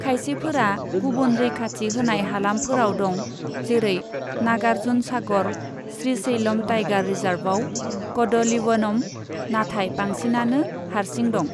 खायसेफोरा गुबुन रैखाथि होनाय हालामफोराव दं, जेरै नागार्जुन सागर श्रीशैलम टाइगार रिजार्वआव कदलिवनम, नाथाय बांसिनानो हारसिं दं।